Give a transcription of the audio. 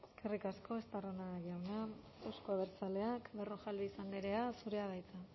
eskerrik asko estarrona jauna euzko abertzaleak berrojalbiz andrea zurea da hitza